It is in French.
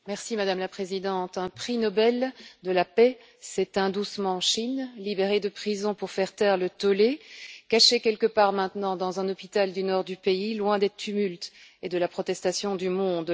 Madame la Présidente, un prix Nobel de la paix s'éteint doucement en Chine, libéré de prison pour faire taire le tollé, caché quelque part maintenant dans un hôpital du nord du pays, loin des tumultes et de la protestation du monde.